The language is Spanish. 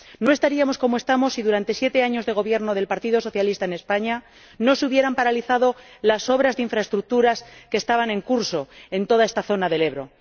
No estaríamos como estamos si, durante siete años de gobierno del Partido Socialista en España, no se hubieran paralizado las obras de infraestructuras que estaban en curso en toda esta zona del Ebro.